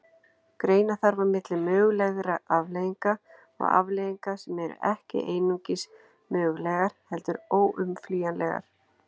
Greina þarf á milli mögulegra afleiðinga og afleiðinga sem eru ekki einungis mögulegar heldur óumflýjanlegar.